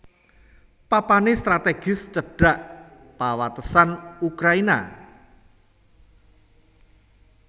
Papané stratégis cedhak pawatesan Ukraina